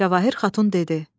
Cavahir Xatun dedi: